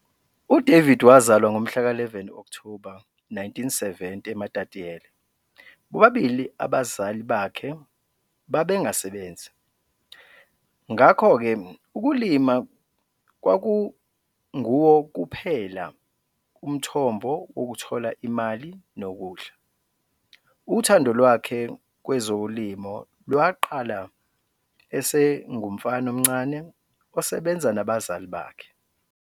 U-David wazalwa ngomhlaka 11 Okthoba 1970 eMatatiele. Bobabili abazali bakhe babengasebenzi, ngakho ke ukulima kwakunguwo kuphela umthombo wokuthola imali nokudla. Uthando lwakhe kwezolimo lwaqala esengumfana omncane osebenza nabazali bakhe.